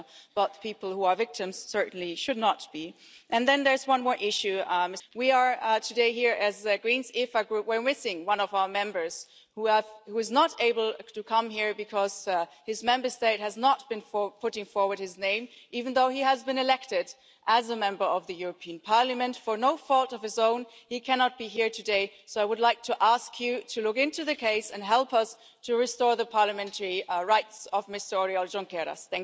patient but people who are victims certainly should not be. And then there's one more issue. We are here today as the Greens EFA Group and we are missing one of our Members who is not able to come here because his Member State has not put forward his name, even though he has been elected as a Member of the European Parliament. Through no fault of his own he cannot be here today, so I would like to ask you to look into the case and help us to restore the parliamentary rights of Mr Oriol Junqueras.